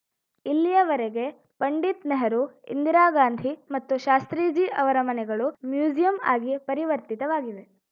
ಇಲ್ಲಿಯವರೆಗೆ ಪಂಡಿತ್‌ ನೆಹರು ಇಂದಿರಾ ಗಾಂಧಿ ಮತ್ತು ಶಾಸ್ತ್ರೀಜಿ ಅವರ ಮನೆಗಳು ಮ್ಯೂಸಿಯಂ ಆಗಿ ಪರಿವರ್ತಿತವಾಗಿವೆ